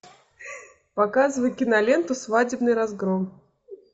показывай киноленту свадебный разгром